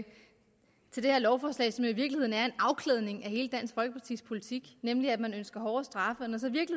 det det her lovforslag som i virkeligheden er en afklædning af hele dansk folkepartis politik nemlig at man ønsker hårde straffe